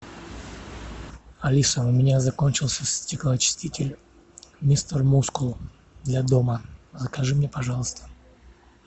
алиса у меня закончился стеклоочиститель мистер мускул для дома закажи мне пожалуйста